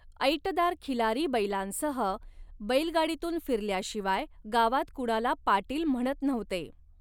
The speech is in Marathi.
ऐटदार खिलारी बैलांसह बैलगाडीतून फिरल्याशिवाय गावात कुणाला पाटील म्हणत नव्हते.